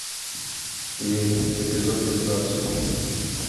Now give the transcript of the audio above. верь эпизод пятнадцать